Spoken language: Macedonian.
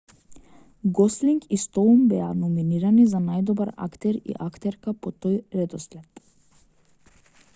гослинг и стоун беа номинирани за најдобар актер и актерка по тој редослед